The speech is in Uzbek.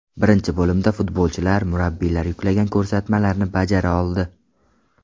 Birinchi bo‘limda futbolchilar murabbiylar yuklagan ko‘rsatmalarni bajara oldi.